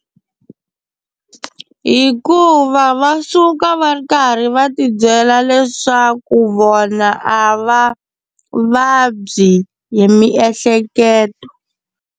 Hikuva va suka va ri karhi va tibyela leswaku vona a va vabyi hi miehleketo.